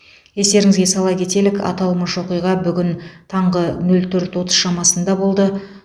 естеріңізге сала кетелік аталмыш оқиға бүгін таңғы нөл төрт шамасында болды